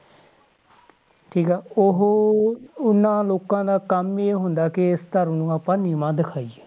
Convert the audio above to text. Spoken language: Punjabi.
ਠੀਕ ਆ ਉਹ ਉਹਨਾਂ ਲੋਕਾਂ ਦਾ ਕੰਮ ਹੀ ਇਹ ਹੁੰਦਾ ਕਿ ਇਸ ਧਰਮ ਨੂੰ ਆਪਾਂ ਨੀਵਾਂ ਦਿਖਾਈਏ,